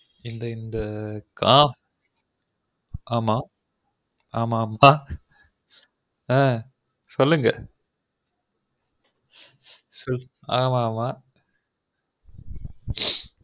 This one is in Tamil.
ஆ ஆ ஆமா ஆ சொல்லுங்க ஆ ஆமா ஆமா